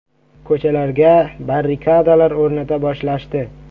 Ko‘chalarga barrikadalar o‘rnata boshlashdi.